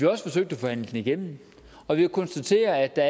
også forsøgt at forhandle den igennem og vi kan konstatere at der